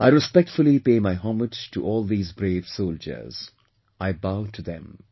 I respectfully pay my homage to all these brave soldiers, I bow to them